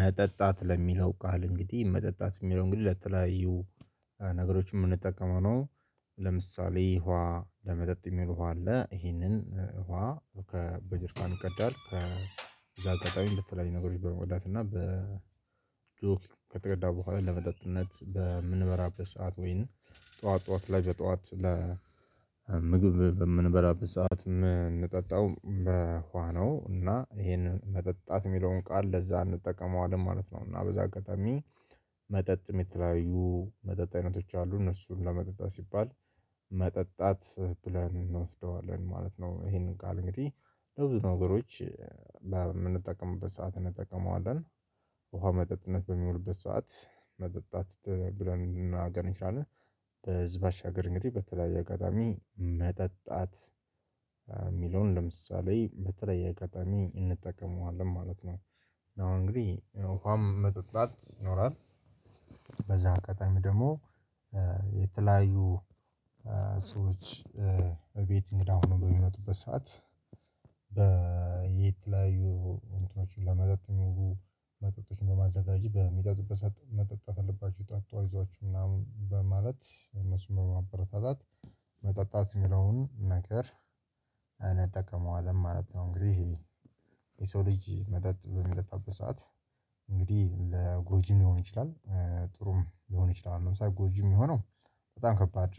መጠጣት ለሚለው ቃል እንግዲህ መጠጣት የሚለው እንግዲህ ለተለያዩ ነገሮች የምንጠቀመው ነው። ለምሳሌ ውሃ ለመጠጥ የሚውል ውሃ አለ ይሄንን ውሃ ከ በጀሬካን ይቀዳለን ከበዛ አጋጣሚ እንደተለያዩ ነገሮች በመወዳት እና በ ጆክ ከተቀዳው በኋላ ለመጠጥነት በምንበራበት ሰዓት ወይንም ጠዋት ጠዋት ላይ በጠዋት ለ ምግብ በምንበራበት ሰዓት የምንጠጣው በውሃ ነው እና ይሄንን መጠጣት የሚለውን ቃል ለዛ አንጠቀመውም ማለት ነው። እና በዛ አጋጣሚ መጠጥም የተለያዩ መጠጥ አይነቶች አሉ እነሱን ለመጠጣት ሲባል መጠጣት ብለን እንወስደዋለን ማለት ነው። ይሄንን ቃል እንግዲህ ለብዙ ነገሮች በምንጠቀምበት ሰዓት እንጠቀመዋለን። ውሃ መጠጥነት በሚውልበት ሰዓት መጠጣት ብለን መናገር እንችላለን። ከዚህ ባሻግሪ እንግዲህ በተለያየ አጋጣሚ መጠጣት የሚለውን ለምሳሌ በተለየ አጋጣሚ እንጠቀመዋለን ማለት ነው። አሁን እንግዲህ ውሃም መጠጣት ይኖራል። በዛ አጋጣሚ ደግሞ የተለያዩ ሰዎች እቤት እንግዳ ሆኖ በሚመጡበት ሰዓት በየተለያዩ እንትኖችን ለመጠጥ የሚውሉ መጠጦችን በማዘጋጃ በሚጠጡበት መጠጥ አለባችሁ ጠጡ አይወችሁ ምናምን በማለት እነሱን በማበረታታት መጠጣት የሚለውን ነገር አንጠቀመዋለን ማለት ነው። እንግዲህ የሰው ልጅ መጠጥ በሚጠጣበት ሰዓት እንግዲህ ለጎጂም ሊሆን ይችላል። ጥሩም ሊሆን ይችላል ለምሳሌ ጎጂም የሚሆነው በጣም ከባድ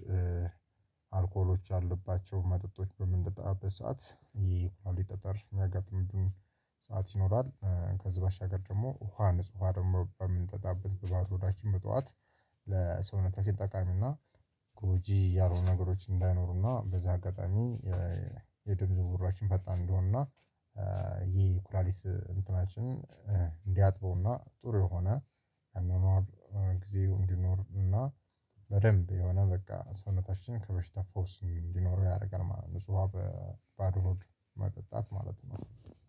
አልኮሎች አለባቸው መጠጦች በምንጠባበት ሰዓት ይሄ ሊጠጠር የሚያጋጥምብን ሰዓት ይኖራል። ከዚህ በሻገር ደግሞ ውሃ ንጹህ ውሃ ደግሞ በምንጠጣበት በዛው ሮዳችን በጠዋት ለሰውነታችን ጠቃሚ እና ጎጂ ያልሆኑ ነገሮች እንዳይኖሩና በዛ አጋጣሚ የድብዙ ውራችን ፈጣን እንደሆንና ይሄ ኩራሊስ እንትናችንን እንዲያጥበውና ጥሩ የሆነ አናናር ጊዜ እንዲኖርና በደንብ የሆነ በቃ ሰውነታችን ከበሽታ ፈውስ እንዲኖረው ያደርጋል ማለት ነው። ንጹሃ በባዶ ሆድ መጠጣት ማለት ነው።